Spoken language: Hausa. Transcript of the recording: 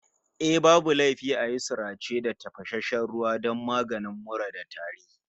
Eh, babu laifi a yi sarace da tafasasshen ruwa don maganin mura da tari